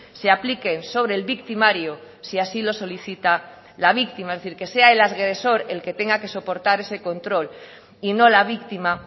se apliquen sobre el victimario si así lo solicita la víctima es decir que sea el agresor el que tenga que soportar ese control y no la víctima